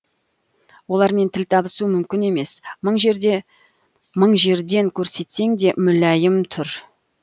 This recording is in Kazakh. олармен тіл табысу мүмкін емес мың жерден көрсетсең де мүләйім түр